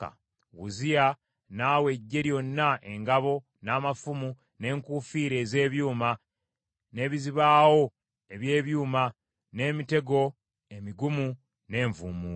Uzziya n’awa eggye lyonna, engabo, n’amafumu, n’enkuufiira ez’ebyuma, n’ebizibaawo eby’ebyuma, n’emitego emigumu, n’envuumuulo.